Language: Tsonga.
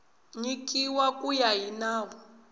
nyikiwa ku ya hi nawu